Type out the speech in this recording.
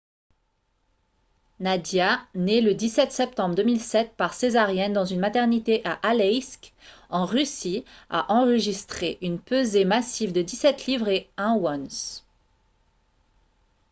nadia née le 17 septembre 2007 par césarienne dans une maternité à aleisk en russie a enregistré une pesée massive de 17 livres et 1 once